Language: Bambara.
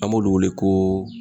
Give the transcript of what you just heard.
An b'olu wele ko